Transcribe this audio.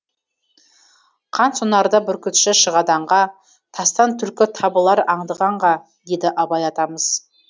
қансонарда бүркітші шығады аңға тастан түлкі табылар аңдығанға деді абай атамыз